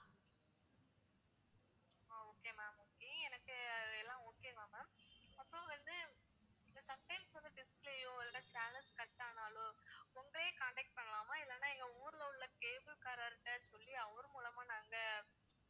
okay ma'am okay எனக்கு எல்லாம் okay தான் ma'am அப்புறம் வந்து இப்போ sometimes வந்து display யோ அல்லது channels cut ஆனாலோ உங்களையே contact பண்ணலாமா இல்லன்னா எங்க ஊர்ல உள்ள cable காரர் கிட்ட சொல்லி அவரு மூலமா நாங்க